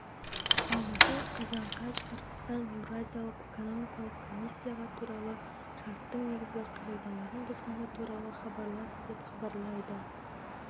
алматы қазан қаз қырғызстан еуразиялық экономикалық комиссияға туралы шарттың негізгі қағидаларын бұзғаны туралы хабарлады деп хабарлайды